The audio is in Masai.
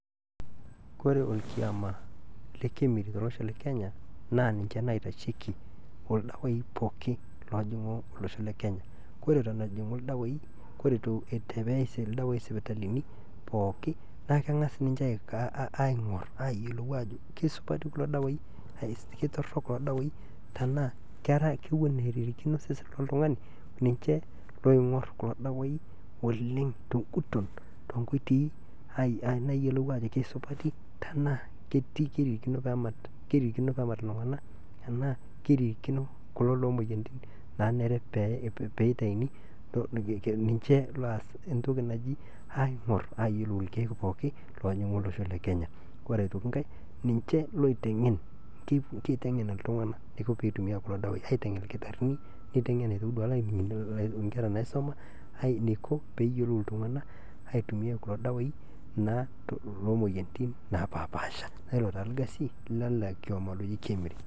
Kore orkioma le KEMRI tolosho le kenya naa ninche naitasheki ordawaii pooki loojing'u losho le kenya, kore eton ejing'u ldawaai eitu eyaai irdawaii, kore eton eeyai irdawaii isipitalini pooki naa keng'as ninche aing'or aayiolou aajo kesupati kulo dawaai, ketorok kulo dawaii tenaa kewen eririkino osesen le ltungani, ninche oing'or kulo dawaii toonguton toonkoitoi naayieolou ajo kesupati tenaa keiririkino peemat ltunganak enaa keiririkino kulo looo imoyiarritin naanare peitaini, ninche oaas entoki anji aing'or aaayiolou irkeek pooki loojing'u olosho le kenya, ore aitoki inkae ninche oitengen, keitengen otungana neiko peetumiyai kulo dawaii, keitengen irkitarin neitengen duake aitoki inkerra naisuma eneiko peeyiolou oltungana aitumiyiai kulo dawaaii naa too imoyiarritin napaashpaasha, naa ilo taa ilkasi le na orkioma oji KEMRI.